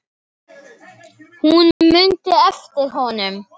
Hún mundi eftir honum.